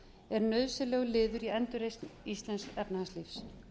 er nauðsynlegur liður í endurreisn íslensks efnahagslífs